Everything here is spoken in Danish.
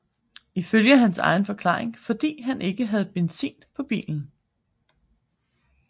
Ifølge hans egen forklaring fordi han ikke havde benzin på bilen